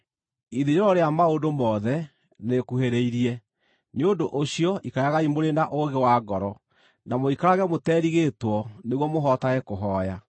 Ithirĩro rĩa maũndũ mothe nĩrĩkuhĩrĩirie. Nĩ ũndũ ũcio ikaragai mũrĩ na ũũgĩ wa ngoro, na mũikarage mũterigĩtwo nĩguo mũhotage kũhooya.